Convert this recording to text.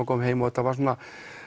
kom heim og þetta var svona